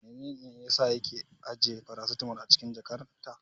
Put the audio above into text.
Menene yasa yake ajiye farasitamol a cikin jakarta?